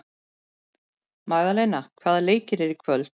Magdalena, hvaða leikir eru í kvöld?